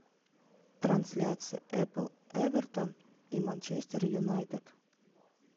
трансляция апл эвертон и манчестер юнайтед